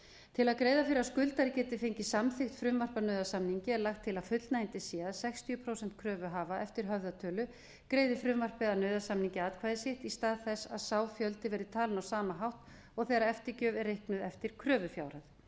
til að greiða fyrir að skuldari geti fengið samþykkt frumvarp að nauðasamningi er lagt til að fullnægjandi sé að sextíu prósent kröfuhafa eftir höfðatölu greiði frumvarpið að nauðasamningi atkvæði sitt í stað þess að sá fjöldi verði talinn á sama hátt og þegar eftirgjöf er reiknuð eftir kröfufjárhæð